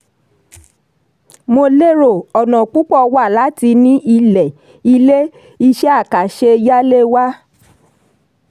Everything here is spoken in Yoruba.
mo lérò: ọ̀nà púpọ̀ wà láti ní ilẹ̀/ilé; iṣẹ́-àkàṣe yálé wa.